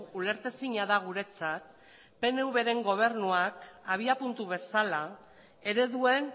ulertezina da guretzat pnvren gobernuak abiapuntu bezala ereduen